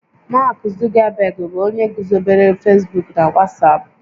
Mark Zuckerberg bụ onye guzobere Facebook na WhatsApp